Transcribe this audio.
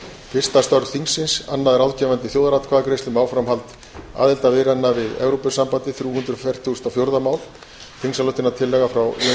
fyrsta störf þingsins annað ráðgefandi þjóðaratkvæðagreiðsla um áframhald aðildarviðræðna við evrópusambandið þrjú hundruð fertugasta og fjórða mál þingsályktunartillaga frá jóni þór